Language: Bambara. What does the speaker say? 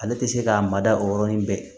Ale tɛ se k'a mada o yɔrɔnin bɛɛ